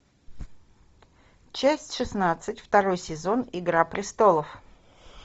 часть шестнадцать второй сезон игра престолов